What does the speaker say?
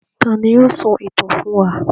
Ta ni yóò sọ ìtàn fún wa?